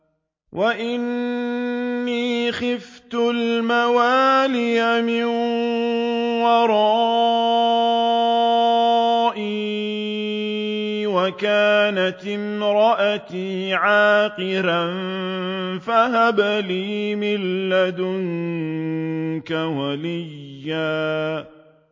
وَإِنِّي خِفْتُ الْمَوَالِيَ مِن وَرَائِي وَكَانَتِ امْرَأَتِي عَاقِرًا فَهَبْ لِي مِن لَّدُنكَ وَلِيًّا